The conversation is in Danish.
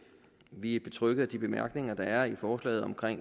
vi er betrygget af de bemærkninger der er i forslaget om